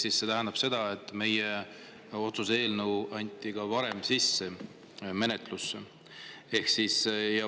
See tähendab seda, et meie otsuse eelnõu anti varem menetlusse.